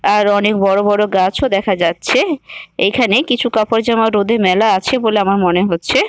আরও অনেক বড় বড় গাছও দেখা যাচ্ছে-এ । এখানে কিছু কাপড় জামাও রোদে মেলা আছে বলে আমার মনে হচ্ছে ।